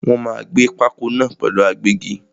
Wọ́n máa gbé pákó náà pẹ̀lú agbẹ́gi.